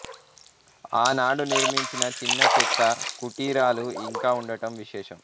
ఆనాడు నిర్మించిన చిన్న చెక్క కుటీరాలు ఇంకా ఉండటం విశేషం